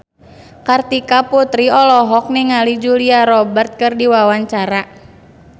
Kartika Putri olohok ningali Julia Robert keur diwawancara